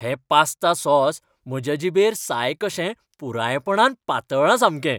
हें pasta sauce म्हज्या जिबेर साय कशें पुरायपणान पातळ्ळां सामकें.